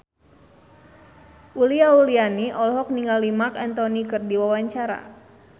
Uli Auliani olohok ningali Marc Anthony keur diwawancara